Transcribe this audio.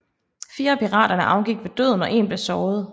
Fire af piraterne afgik ved døden og en blev såret